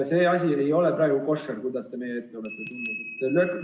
See asi ei ole praegu koššer, kuidas te meie ette olete tulnud.